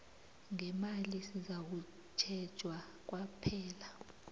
ngemali sizakutjhejwa kwaphela